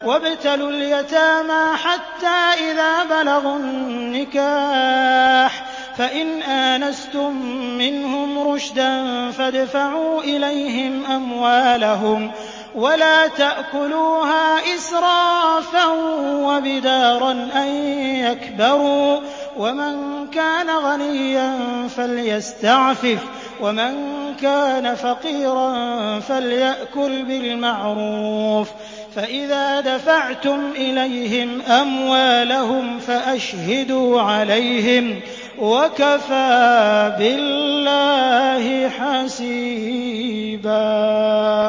وَابْتَلُوا الْيَتَامَىٰ حَتَّىٰ إِذَا بَلَغُوا النِّكَاحَ فَإِنْ آنَسْتُم مِّنْهُمْ رُشْدًا فَادْفَعُوا إِلَيْهِمْ أَمْوَالَهُمْ ۖ وَلَا تَأْكُلُوهَا إِسْرَافًا وَبِدَارًا أَن يَكْبَرُوا ۚ وَمَن كَانَ غَنِيًّا فَلْيَسْتَعْفِفْ ۖ وَمَن كَانَ فَقِيرًا فَلْيَأْكُلْ بِالْمَعْرُوفِ ۚ فَإِذَا دَفَعْتُمْ إِلَيْهِمْ أَمْوَالَهُمْ فَأَشْهِدُوا عَلَيْهِمْ ۚ وَكَفَىٰ بِاللَّهِ حَسِيبًا